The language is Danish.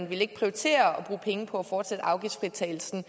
ville prioritere at bruge penge på at fortsætte afgiftsfritagelsen